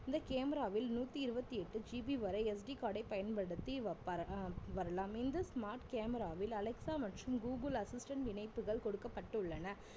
இந்த cameraவில் நூத்தி இருவத்தி எட்டு GP வரை SD card ஐ பயன்படுத்தி வைப்பார்~ அஹ் வரலாம் இந்த smart camera வில் அலெக்ஸா மற்றும் கூகுல் assistant இணைப்புகள் கொடுக்கப்பட்டுள்ளன